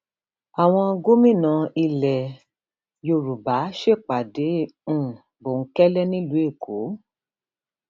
àwọn gómìnà ilẹ yorùbá ṣèpàdé um bòńkẹlẹ nílùú èkó